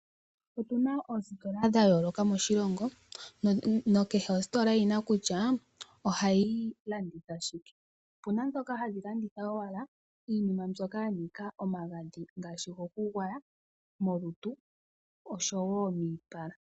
Otuna oositola dha yooloka moshilongo nakehe ositola oyina kutya ohayi landitha shike, opuna ndhoka hadhi landitha owala iinima mbyoka yanika omagadhi ngaashi gokugwaya molutu nosho woo miipala.